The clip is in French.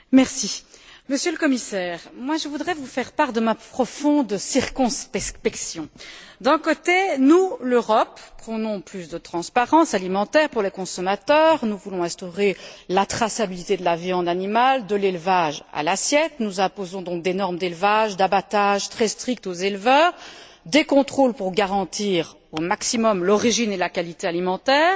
Madame la Présidente, Monsieur le Commissaire, je voudrais vous faire part de ma profonde circonspection. D'un côté, nous l'Europe prônons plus de transparence alimentaire pour les consommateurs, nous voulons instaurer la traçabilité de la viande animale de l'élevage à l'assiette nous imposons donc des normes d'élevage et d'abattage très strictes aux éleveurs et des contrôles pour garantir au maximum l'origine et la qualité alimentaire.